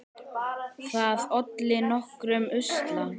Það olli nokkrum usla.